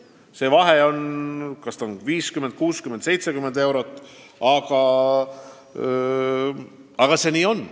See vahe on umbes 50, 60 või 70 eurot.